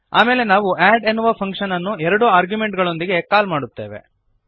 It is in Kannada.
ಆಮೇಲೆ ನಾವು ಅಡ್ ಎನ್ನುವ ಫಂಕ್ಶನ್ ಅನ್ನು ಎರಡು ಆರ್ಗ್ಯುಮೆಂಟುಗಳೊಂದಿಗೆ ಕಾಲ್ ಮಾಡುತ್ತೇವೆ